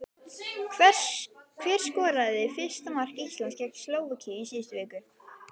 Hver skoraði fyrsta mark Íslands gegn Slóvakíu í síðustu viku?